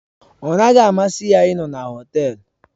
Ọ naghị amasị ya ịnọ na họtel.